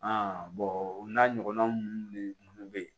o n'a ɲɔgɔnnaw de be yen